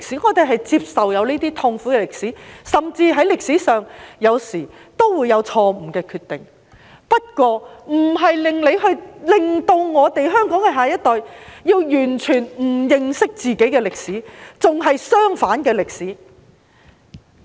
我們接受這些痛苦的歷史，甚至在歷史上，有時候也會有錯誤的決定，但這並非要你讓香港的下一代完全不認識自己的歷史，甚至是相反的歷史。